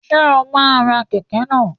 Ṣé o máa ra kẹ̀kẹ́ náà?